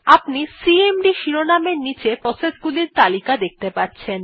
আপনি সিএমডি শিরোনাম এর নীচে প্রসেস গুলির নাম দেখতে পাচ্ছেন